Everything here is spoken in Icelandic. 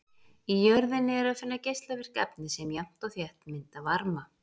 Í jörðinni er að finna geislavirk efni sem jafnt og þétt mynda varma.